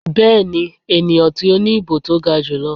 Bẹ́ẹ̀ni, eniyan ti o ni ibo to ga julọ.